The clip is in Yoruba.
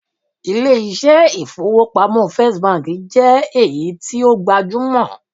ilé iṣẹ ifowopamọ first Bank je iyen ti o gbajumo